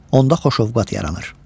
Onda xoş ovqat yaranır.